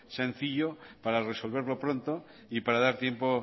sencillo para resolverlo pronto y para dar tiempo